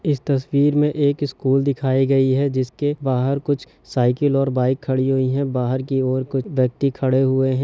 इस तस्वीर में एक स्कूल दिखाई गई है जिसके बाहर कुछ साइकिल और बाइक खड़ी हुई है बाहर की ओर कुछ ब्यक्ति खड़े हुए है।